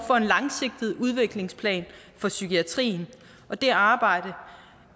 for en langsigtet udviklingsplan for psykiatrien og det arbejde